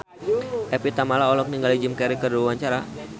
Evie Tamala olohok ningali Jim Carey keur diwawancara